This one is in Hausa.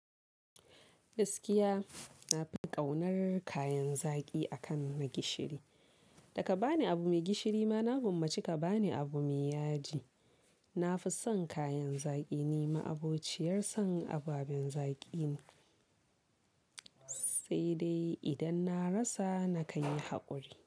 Gaskiya na fi ƙaunar kayan zaƙi akan na gishiri. Da ka ba ni abu mai gishiri ma, na gwammaci ka ba ni abu mai yaji. Na fi son kayan zaƙi, ni ma'abociyar son ababen zaƙi ne, sai dai idan na rasa na kan yi haƙuri.